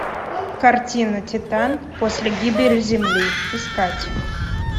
картина титан после гибели земли искать